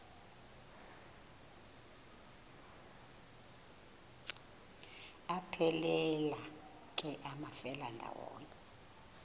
aphelela ke amafelandawonye